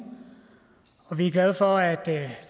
og vi er glade for at